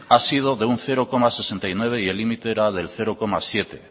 ha sido de un cero coma sesenta y nueve y el límite era del cero coma siete